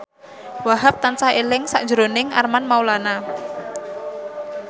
Wahhab tansah eling sakjroning Armand Maulana